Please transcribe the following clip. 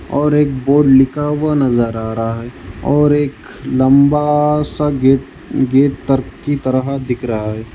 और एक बोर्ड लिखा हुआ नजर आ रहा है और एक लंबा सा गेट गेट तर की तरह दिख रहा है।